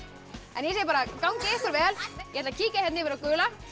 ég segi bara gangi ykkur vel ég ætla að kíkja hérna yfir á gula